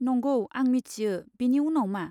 नंगौ, आं मिथियो, बेनि उनाव मा?